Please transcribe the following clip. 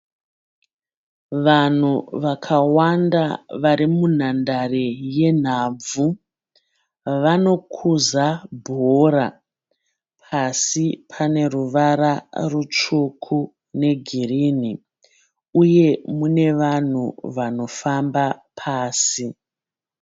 Vanhu vakawanda vari munhandare yenhabvu. Vanokuza bhora. Pasi pane ruvara rutsvuku negirinhi. Uye mune vanhu vanofamba pasi.